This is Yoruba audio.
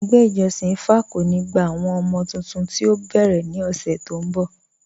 Ẹgbẹ́ ìjọ̀ṣin ìfá kò ní gbà àwọn ọmọ̀ tuntun tí o bẹ́rẹ̀ ní ọṣè tó n bọ̀.